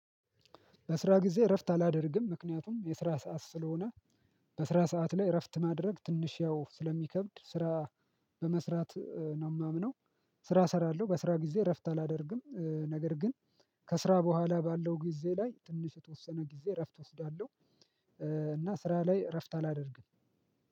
በስራ ጊዜ እረፍት አላደርግም ምክንያቱም የስራ ሰዓት ስለሆነ። በስራ ሰዓት ላይ እረፍት ማድረግ ትንሽ ያው ስለሚከብድ ስራ በመስራት ነው የማምነው። ስራ እሰራለሁ በስራ ጊዜ እረፍት አላደርግም ነገር ግን። ከስራ በኋላ ባለው ጊዜ ላይ ትንሽ የተወሰነ ጊዜ እረፍት እወስዳለሁ። እና ስራ ላይ እረፍት አላደርግም።